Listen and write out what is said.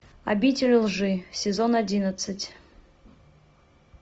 обитель лжи сезон одиннадцать